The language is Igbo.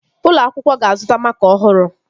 Ụlọ akwụkwọ ga-azụta makaa ọhụrụ